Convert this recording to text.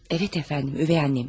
Evet əfəndim, ögey anəmdir.